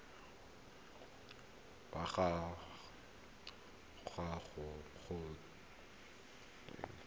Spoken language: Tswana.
wa ga gagwe go tlhotswe